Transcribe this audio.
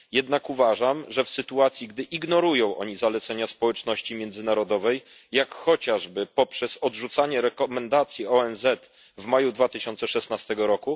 Jednak uważam, że w sytuacji, gdy ignorują one zalecenia społeczności międzynarodowej, jak chociażby poprzez odrzucanie rekomendacji ONZ w maju 2016 r.,